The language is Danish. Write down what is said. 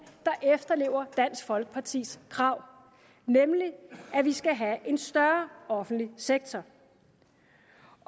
der efterlever dansk folkepartis krav nemlig at vi skal have en større offentlig sektor